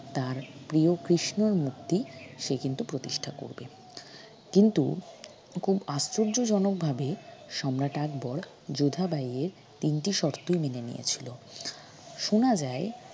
তার প্রিয় কৃষ্ণর মূর্তি সে কিন্তু প্রতিষ্ঠা করবে কিন্তু খুব আশ্চর্যজনক ভাবে সম্রাট আকবর যোধাবাই এর তিনটি শর্তই মেনে নিয়েছিল শোনা যায়